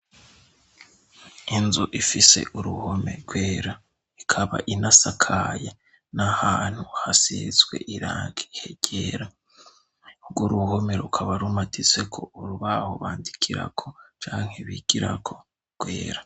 Inzu ifise uruhome rwera, ikaba inasakaye. N'ahantu hasizwe irangi ryera. Urwo uruhome rukaba rumatiseko urubaho bandikirako canke bigirako rwera.